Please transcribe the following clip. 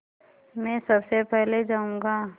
मैं सबसे पहले जाऊँगा